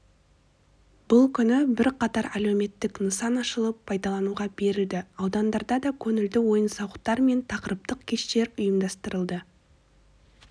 бұл күні бірқатар әлеуметтік нысан ашылып пайдалануға берілді аудандарда да көңілді ойын-сауықтар мен тақырыптық кештер ұйымдастырылды